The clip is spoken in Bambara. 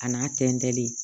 A n'a tɛntɛnlen